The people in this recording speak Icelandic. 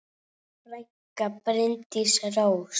Þín frænka, Bryndís Rós.